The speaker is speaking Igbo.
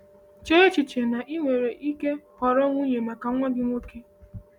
“Chee echiche na ị nwere ike họrọ nwunye maka nwa gị nwoke.”